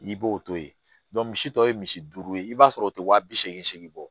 I b'o to yen misi tɔ ye misi duuru ye i b'a sɔrɔ o tɛ wa bi seegin segi bɔ